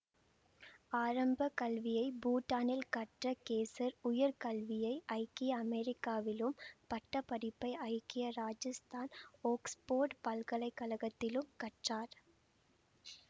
ஆரம்ப கல்வியை பூட்டானில் கற்ற கேசர் உயர் கல்வியை ஐக்கிய அமெரிக்காவிலும் பட்ட படிப்பை ஐக்கிய ராட்சஸ்தான் ஒக்ஸ்போர்ட் பல்கலை கழகத்திலும் கற்றார்